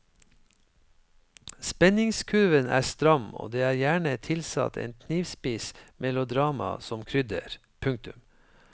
Spenningskurven er stram og det er gjerne tilsatt en knivspiss melodrama som krydder. punktum